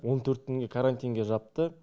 он төрт күнге карантинге жапты